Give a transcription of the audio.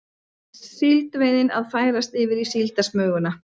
Síldveiðin að færast yfir í síldarsmuguna